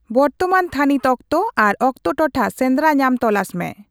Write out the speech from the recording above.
ᱵᱚᱨᱛᱚᱢᱟᱱ ᱛᱷᱟᱹᱱᱤᱛ ᱚᱠᱛᱚ ᱟᱨ ᱚᱠᱛᱚ ᱴᱚᱴᱷᱟ ᱥᱮᱱᱫᱽᱨᱟ ᱧᱟᱢ ᱛᱚᱞᱟᱥ ᱢᱮ